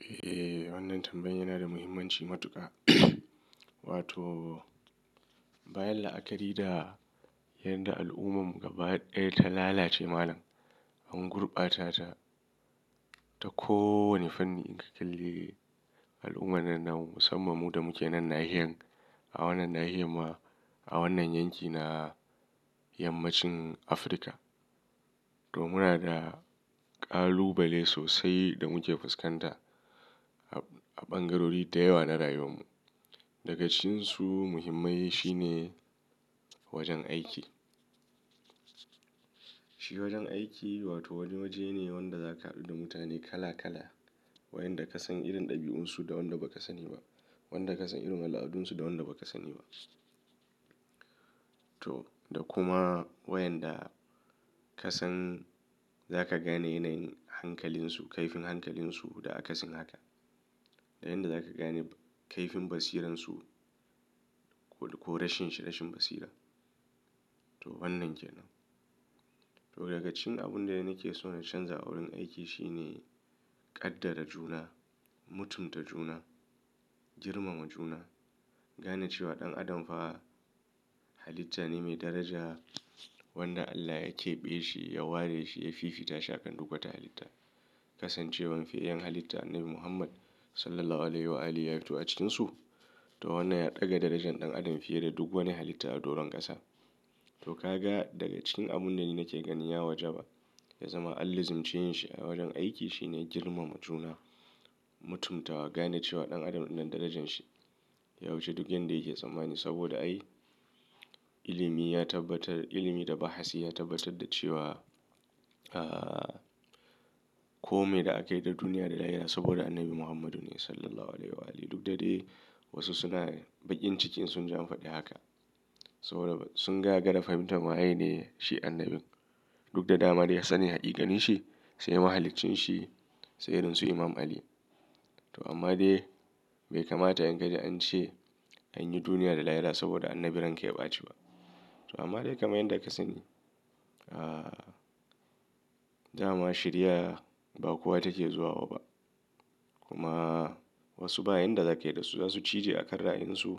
Eh, wannan tambayan yana da muhimmanci matuƙa. Wato bayan la'akari da yadda al'ummar mu gaba ɗaya ta lalace malam, an gurɓata ta ta kowane fanni in ka kalli al'umma nan na musamman mu da muke nan nahiyar, a wannan nahiyar ma a wannan yankina yammacin Afirka. To muna da ƙalubale sosai da muke fuskanta a ɓangarori da yawa na rayuwar mu. Daga cikin su muhimmai shine wajen aiki. Shi wajen aiki wato wani waje ne wanda zaka haɗu da mutane kala kala. Wayanda ka san irin ɗabi'un su da wanda baka sani ba, wanda ka san irin al'adun su da wanda baka sani ba. Toh da kuma wa yanda kasan za ka gane yanayin hankalin su kaifin hankalin su da akasin haka da yanda zaka gane kaifin basiran su ko rashin shi, rashin basira. To wannan ke nan. To daga cikin abun da nake so na canza a wurin aiki shine kaddara juna, mutunta juna, girmama juna, gane cewa ɗan adam fa halitta ne mai daraja wanda Allah ya keɓe shi, ya ware shi, ya fifita shi akan duk wata halitta. Kasancewan fiyayyan halitta annabi muhammad sallallahu alaihi wa alihi ya fito daga cikin su to wannan ya ɗaga darajan ɗan adam fiye da duk wani halitta a doron ƙasa. To ka ga daga cikin abun da nake ganin ya wajaba ya zama Alla zumci yin shi a wajan aiki shine girmama juna, mutumtawa, gane cewa ɗan adam nan darajan shi ya wuce duk yanda yake tsammani saboda ai ilimi ya tabbatar, ilimi da bahasi ya tabbatar da cewa, ah, kome da a kaida duniya da lahira saboda Annabi Muhammadu ne SAW. Duk da dai wasu suna baƙin cikin sun jamfadi haka. Saboda sun gagara fahimtan shiwayene annabin duk da dama dai sanin haƙiqanin shi, sai mahaliccin shi, sai irin su Imam Ali. To amma dai bai kamata in ka ji an ce anyi duniya da lahira saboda annabi ranka ya ɓaci ba. To amma dai kamar yanda ka sani, ah, dama shariya ba kowa take zuwa ma ba. Kuma wasu bayan da za kai da su za su cije a kan ra'ayin su